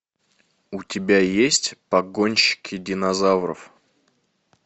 у тебя есть погонщики динозавров